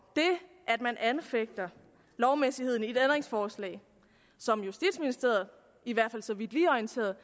man ikke anfægte lovmæssigheden i et ændringsforslag som justitsministeriet i hvert fald så vidt vi er orienteret